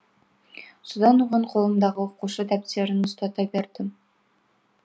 содан оған қолымдағы оқушы дәптерін ұстата бердім